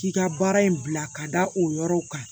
K'i ka baara in bila ka da o yɔrɔ kan